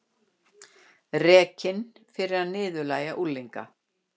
Rekinn fyrir að niðurlægja unglinga